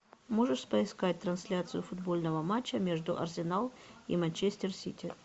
можешь поискать трансляцию футбольного матча между арсенал и манчестер сити